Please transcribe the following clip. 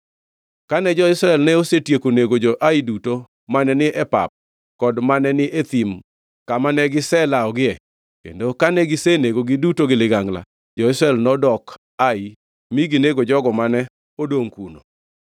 Kane jo-Israel ne osetieko nego jo-Ai duto mane ni e pap kod mane ni e thim kama ne giselawogie, kendo kane gisenegogi duto gi ligangla, jo-Israel nodok Ai mi ginego jogo mane odongʼ kuno.